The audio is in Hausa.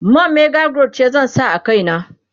man mega growth ce zan sa a kaina